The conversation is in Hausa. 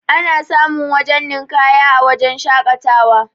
ana samun wajen ninƙaya a wajen shaƙatawa